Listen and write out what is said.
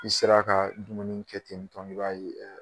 I sera ka dumuni kɛ ten tɔ i b'a ye